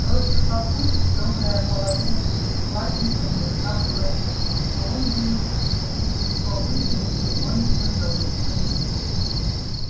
просто папульке добрая половина десятиклассников должна была денег и он заявил что если его выберут то он всем долги простит